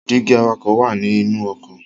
Dígí awakọ̀ wá ní inú ọkọ̀